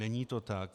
Není to tak.